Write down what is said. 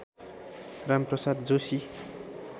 Ram Prasad Joshi